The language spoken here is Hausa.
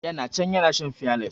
Ya na can ya na shan fiyales.